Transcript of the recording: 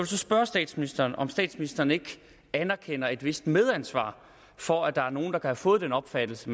så spørge statsministeren om statsministeren ikke anerkender at have et vist medansvar for at der nogle der har fået den opfattelse